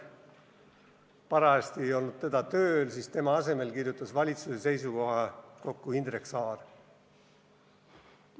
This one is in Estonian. Kuna teda ennast ei olnud parajasti tööl, kirjutas tema asemel valitsuse seisukoha Indrek Saar.